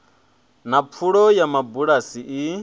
na pfulo ya mabulasi i